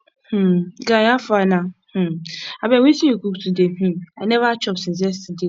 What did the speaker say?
um guy how far na um abeg wetin you cook today um i never chop since yesterday